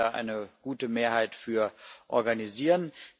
Wir werden eine gute Mehrheit dafür organisieren.